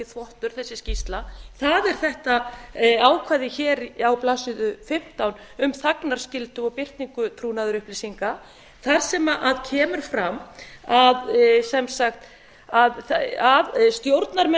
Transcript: þvottur þessi skýrsla það er þetta ákvæði hér á blaðsíðu fimmtán um þagnarskyldu og birtingu trúnaðarupplýsinga þar sem kemur fram að stjórnarmenn